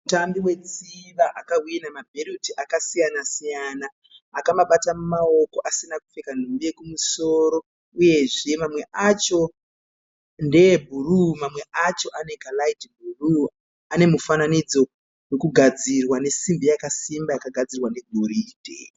Mutambi wetsiva akahwinha mabheuti akasiyana-siyana akamabata mumaoko asina kupfeka nhumbi yekumusoro uyezve mamwe acho ndeebhuruu mamwe acho anekaraiti bhuruu. Anemufananidzo wekugadzirwa nesimbi yakasimba yakagadzirwa negoridhe.